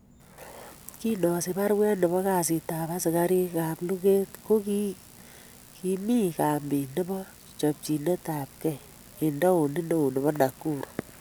Kin osich baruet nebo kasitab asikarik ab luget ko kigimi kampit nebo chopchinet ab kee en taonit neo nebo Nakuru.